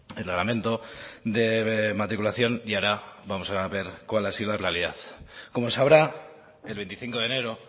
el reglamento de matriculación y ahora vamos a ver cuál ha sido la realidad como sabrá el veinticinco de enero